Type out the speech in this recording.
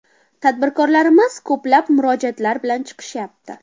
Tadbirkorlarimiz ko‘plab murojaatlar bilan chiqishyapti.